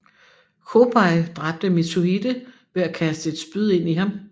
Chōbei dræbte Mitsuhide ved at kaste et spyd ind i ham